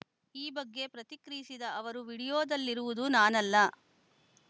ಈ ಬಗ್ಗೆ ಪ್ರತಿಕ್ರಿಯಿಸಿದ ಅವರು ವಿಡಿಯೋದಲ್ಲಿರುವುದು ನಾನಲ್ಲ